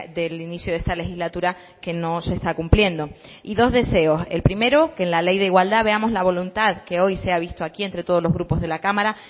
del inicio de esta legislatura que no se está cumpliendo y dos deseos el primero que en la ley de igualdad veamos la voluntad que hoy se ha visto aquí entre todos los grupos de la cámara